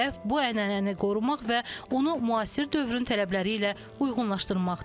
Hədəf bu ənənəni qorumaq və onu müasir dövrün tələbləri ilə uyğunlaşdırmaqdır.